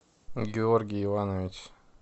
георгий иванович